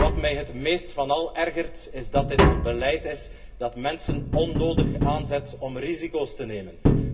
Maar wat mij het meest van al ergert, is dat dit een beleid is dat mensen onnodig aanzet om risico's te nemen.